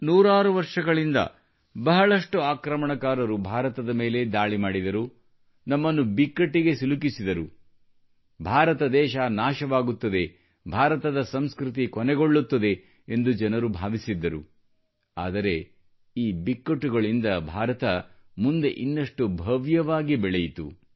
ನೂರಾರು ವರ್ಷಗಳಿಂದ ಬಹಳಷ್ಟು ಆಕ್ರಮಣಕಾರರು ಭಾರತದ ಮೇಲೆ ದಾಳಿ ಮಾಡಿದರು ನಮ್ಮನ್ನು ಬಿಕ್ಕಟ್ಟಿಗೆ ಸಿಲುಕಿಸಿದರು ಭಾರತ ದೇಶ ನಾಶವಾಗುತ್ತದೆ ಭಾರತದ ಸಂಸ್ಕೃತಿ ಕೊನೆಗೊಳ್ಳುತ್ತದೆ ಎಂದು ಜನರು ಭಾವಿಸಿದ್ದರು ಆದರೆ ಈ ಬಿಕ್ಕಟ್ಟುಗಳಿಂದ ಭಾರತವು ಮುಂದೆ ಇನ್ನಷ್ಟು ಭವ್ಯವಾಗಿ ಬೆಳೆಯಿತು